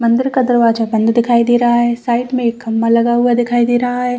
मंदिर का दरवाजा बंद दिखाई दे रहा है साइड में एक खम्भा लगा हुआ दिखाई दे रहा है।